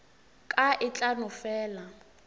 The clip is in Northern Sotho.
ka e tla no fela